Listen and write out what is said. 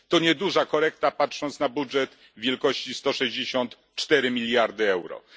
To nieduża korekta, patrząc na budżet wielkości 164 mld euro.